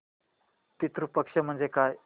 पितृ पक्ष म्हणजे काय